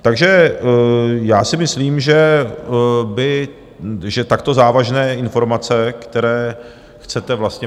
Takže já si myslím, že takto závažné informace, které chcete vlastně...